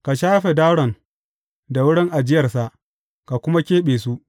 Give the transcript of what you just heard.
Ka shafe daron da wurin ajiyarsa, ka kuma keɓe su.